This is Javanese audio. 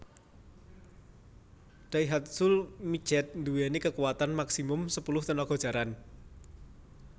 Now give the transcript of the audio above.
Daihatsu Midget nduweni kakuwatan maksimum sepuluh tenaga jaran